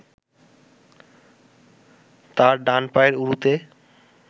তার ডান পায়ের উরুতে